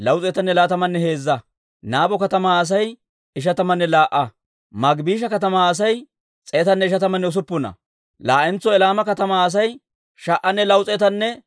Hawanttu omooduwaappe simmeedda k'eesetuwaa: Iyyaasu yara gidiyaa Yadaaya yaratuu 973;